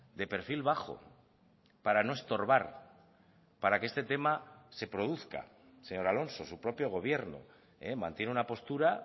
de perfil bajo para no estorbar para que este tema se produzca señor alonso su propio gobierno mantiene una postura